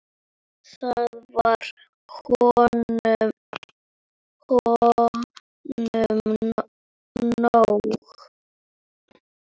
Það var honum nóg.